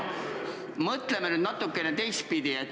Mõtleme nüüd natuke teistpidi.